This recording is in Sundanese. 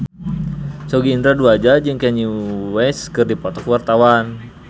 Sogi Indra Duaja jeung Kanye West keur dipoto ku wartawan